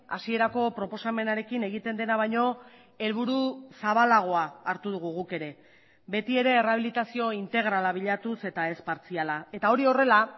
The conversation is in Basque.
hasierako proposamenarekin egiten dena baino helburu zabalagoa hartu dugu guk ere betiere errehabilitazio integrala bilatuz eta ez partziala eta hori horrela